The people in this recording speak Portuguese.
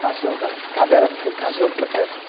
Cachorro, cadela fica,